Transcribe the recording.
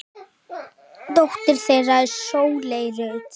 Dóttir þeirra er Sóley Rut.